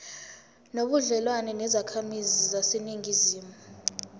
nobudlelwane nezakhamizi zaseningizimu